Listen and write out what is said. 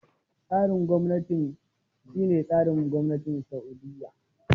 Tsarin gwamnatin mulki shi ne tsarin gwamnatin Sa'udiyya